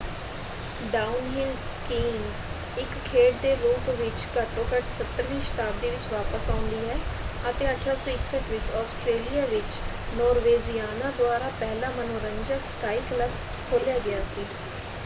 Downhill skiing ਇਕ ਖੇਡ ਦੇ ਰੂਪ ਵਿੱਚ ਘੱਟੋ-ਘੱਟ 17ਵੀਂ ਸ਼ਤਾਬਦੀ ਵਿੱਚ ਵਾਪਸ ਆਉਂਦੀ ਹੈ ਅਤੇ 1861 ਵਿੱਚ ਆਸਟਰੇਲੀਆ ਵਿੱਚ ਨੋਰਵੇਜ਼ੀਅਨਾਂ ਦੁਆਰਾ ਪਹਿਲਾ ਮਨੋਰੰਜਕ ਸਕਾਇ ਕਲੱਬ ਖੋਲਿਆ ਗਿਆ ਸੀ।